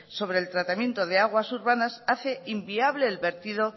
sobre el tratamiento de aguas urbanas hace inviable el vertido